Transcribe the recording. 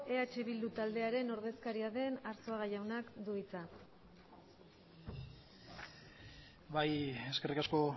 eh bildu taldearen ordezkaria den arzuaga jaunak du hitza bai eskerrik asko